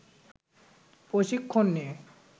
প্রশিক্ষণ নিয়ে